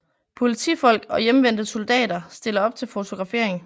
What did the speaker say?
Politifolk og hjemvendte soldater stiller op til fotografering